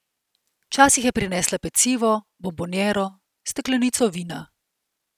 Včasih je prinesla pecivo, bonboniero, steklenico vina.